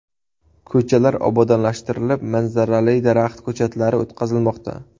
Ko‘chalar obodonlashtirilib, manzarali daraxt ko‘chatlari o‘tqazilmoqda.